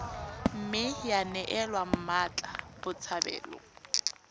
mme ya neelwa mmatla botshabelo